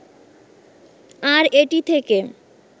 আর এটি থেকে